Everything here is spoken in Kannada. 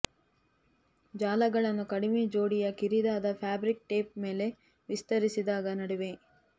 ಜಾಲಗಳನ್ನು ಕಡಿಮೆ ಜೋಡಿಯ ಕಿರಿದಾದ ಫ್ಯಾಬ್ರಿಕ್ ಟೇಪ್ ಮೇಲೆ ವಿಸ್ತರಿಸಿದಾಗ ನಡುವೆ